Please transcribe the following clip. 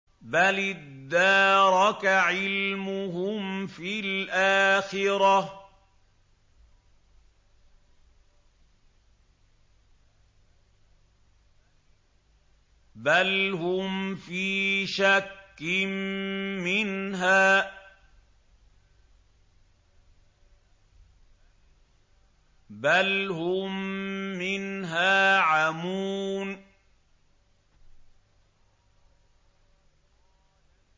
بَلِ ادَّارَكَ عِلْمُهُمْ فِي الْآخِرَةِ ۚ بَلْ هُمْ فِي شَكٍّ مِّنْهَا ۖ بَلْ هُم مِّنْهَا عَمُونَ